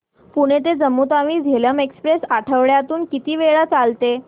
पुणे ते जम्मू तावी झेलम एक्स्प्रेस आठवड्यातून किती वेळा चालते